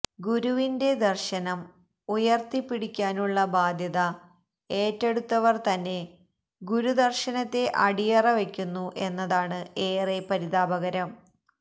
ഗുരുവിന്റെ ദര്ശനം ഉയര്ത്തിപ്പിടിക്കാനുളള ബാധ്യത ഏറ്റെടുത്തവര് തന്നെ ഗുരുദര്ശനത്തെ അടിയറവെക്കുന്നു എന്നതാണ് ഏറെ പരിതാപകരം